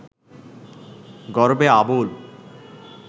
গর্বে আবুল